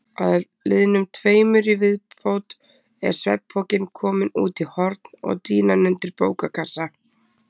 Að liðnum tveimur í viðbót er svefnpokinn kominn út í horn og dýnan undir bókakassa.